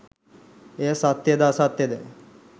එය සත්‍යයද අසත්‍යද